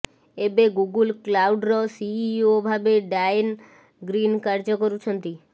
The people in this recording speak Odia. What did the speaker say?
ଏବେ ଗୁଗୁଲ୍ କ୍ଲାଉଡ୍ର ସିଇଓ ଭାବେ ଡାଏନ ଗ୍ରିନ କାର୍ଯ୍ୟ କରୁଛନ୍ତି